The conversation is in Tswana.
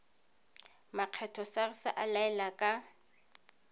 makgetho sars a laela ka